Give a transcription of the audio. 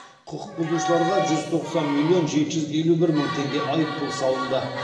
құқық бұзушыларға жүз тоқсан миллион жеті жүз елу бір мың теңге айыппұл салынды